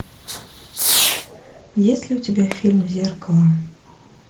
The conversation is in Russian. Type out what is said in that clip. есть ли у тебя фильм зеркало